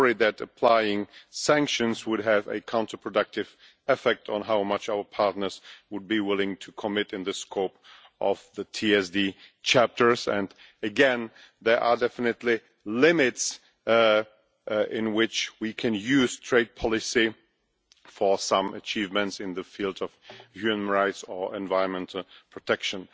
We worry that applying sanctions would have a counterproductive effect on how much our partners would be willing to commit in the scope of the TSD chapters. Again, there are definitely limits to which we can use trade policy for some achievements in the field of human rights or environmental protection.